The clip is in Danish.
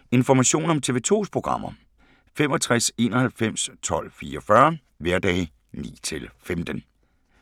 Information om TV 2's programmer: 65 91 12 44, hverdage 9-15.